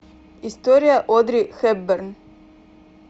история одри хепберн